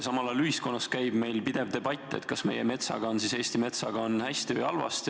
Samal ajal käib meil ühiskonnas pidev debatt selle üle, kas Eesti metsaga on lood hästi või halvasti.